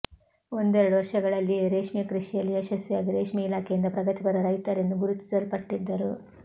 ಒಂದೆರಡು ವರ್ಷಗಳಲ್ಲಿಯೇ ರೇಷ್ಮೆಕೃಷಿಯಲ್ಲಿ ಯಶಸ್ವಿಯಾಗಿ ರೇಷ್ಮೆ ಇಲಾಖೆಯಿಂದ ಪ್ರಗತಿಪರ ರೈತರೆಂದು ಗುರುತಿಸಲ್ಪಟ್ಟಿದ್ದರು